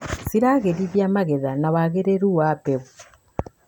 ciragĩrithia magetha na wagĩrĩru wa mbeũ.